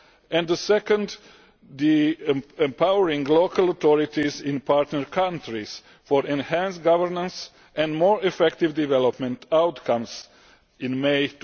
and the second being Empowering local authorities in partner countries for enhanced governance and more effective development outcomes', adopted in May